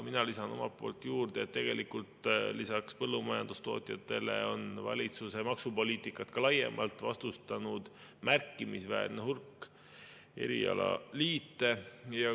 " Mina lisan omalt poolt juurde, et tegelikult lisaks põllumajandustootjatele on valitsuse maksupoliitikat laiemalt vastustanud märkimisväärne hulk erialaliite.